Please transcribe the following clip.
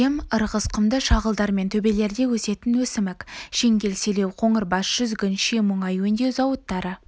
жем ырғыз құмды шағылдар мен төбелерде өсетін өсімік шеңгел селеу қоңырбас жүзгін ши мұнай өңдеу зауыттары